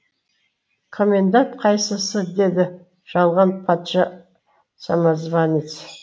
комендант қайсысы деді жалған патша самозванец